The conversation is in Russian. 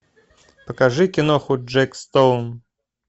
покажи киноху джек стоун